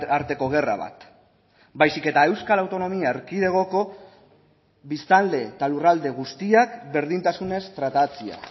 arteko gerra bat baizik eta euskal autonomia erkidegoko biztanle eta lurralde guztiak berdintasunez tratatzea